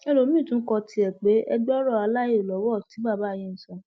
ẹlòmíín tún kọ tiẹ pè é gbọ ọrọ àìlọwọ tí bàbá yìí ń sọ